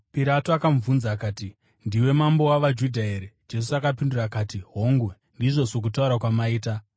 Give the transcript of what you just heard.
Pirato akamubvunza akati, “Ndiwe mambo wavaJudha here?” Jesu akapindura akati, “Hongu, ndizvo sokutaura kwamaita.”